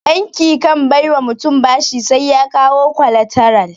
Banki kan bai wa mutum bashi sai ya kawo kwalataral.